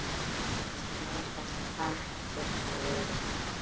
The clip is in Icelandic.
Kærar þakkir, Halli.